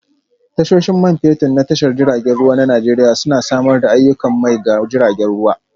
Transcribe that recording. Tashoshin Man Fetur na Tashar jiragen ruwa na Najeriya Suna Samar da aiyukan mai ga jiragen ruwa